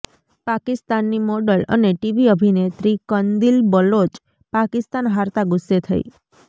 પાકિસ્તાનની મોડલ અને ટીવી અભિનેત્રી કંદીલ બલોચ પાકિસ્તાન હારતા ગુસ્સે થઇ